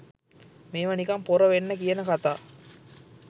මේව නිකං පොර වෙන්න කියන කතා